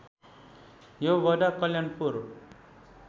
यो वडा कल्याणपुर